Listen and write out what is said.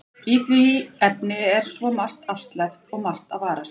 Í því efni er svo margt afsleppt og margt að varast.